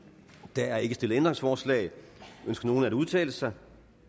der er ikke stillet ændringsforslag ønsker nogen at udtale sig